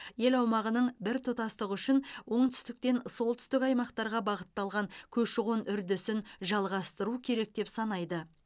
ел аумағының біртұтастығы үшін оңтүстіктен солтүстік аймақтарға бағытталған көші қон үрдісін жалғастыру керек деп санайды